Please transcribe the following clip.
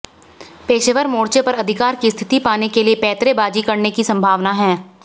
पेशेवर मोर्चे पर अधिकार की स्थिति पाने के लिए पैंतरेबाज़ी करने की संभावना है